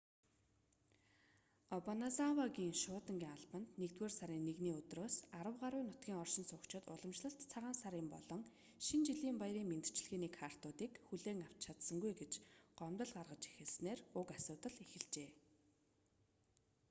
обаназавагийн шуудангийн албанд 1-р сарын 1-ний өдрөөс арав гаруй нутгийн оршин суугчид уламжлалт цагаан сарын болон шинэ жилийн баярын мэндчилгээний картуудыг хүлээж авсангүй гэж гомдол гаргаж эхэлснээр уг асуудал эхэлжээ